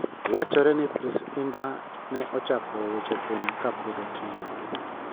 wachore ni Pronce indah ne ochako weche thum kapod otin .